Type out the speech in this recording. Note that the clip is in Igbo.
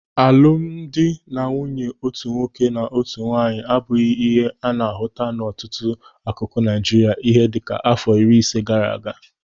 Alụmdi na nwunye otu nwoke na otu nwaanyị abụghị ihe a na-ahụta n'ọtụtụ akụkụ Naịjiria ihe dịka àfọ iri ise gaara aga.